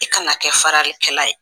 I kana kɛ faralikɛla ye.